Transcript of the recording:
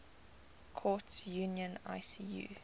courts union icu